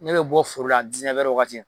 Ne bɛ bɔ foro la wagati.